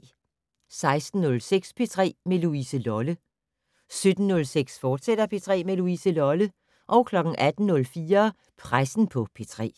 16:06: P3 med Louise Lolle 17:06: P3 med Louise Lolle, fortsat 18:04: Pressen på P3